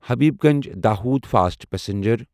Habibganj Dahod fast passenger